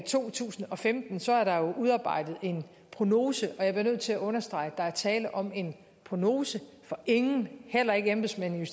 to tusind og femten så er der jo udarbejdet en prognose og jeg bliver nødt til at understrege at der er tale om en prognose for ingen heller ikke embedsmændene i